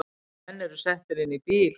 Menn eru settir inn í bíl